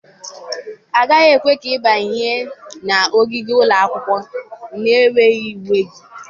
Agaghị ekwe ka ị banye n'ogige ụlọ akwụkwọ na-enweghị uwe gị.